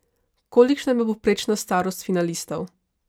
Kolikšna je bila povprečna starost finalistov?